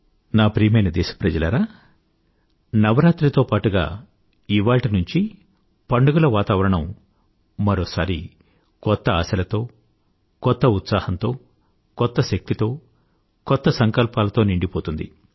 నా ప్రియమైన దేశప్రజలారా నవరాత్రి తో పాటుగా ఇవాళ్టి నుంచీ పండుగల వాతావరణం మరోసారి కొత్త ఆశలతో కొత్త ఉత్సాహంతో కొత్త శక్తితో కొత్త సంకల్పాలతో నిండిపోతుంది